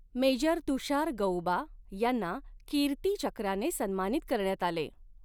Major Tushar Gauba यांना कीर्तीचक्राने सन्मानित करण्यात आले.